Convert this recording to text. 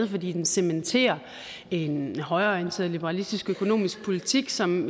fordi den cementerer en højreorienteret liberalistisk økonomisk politik som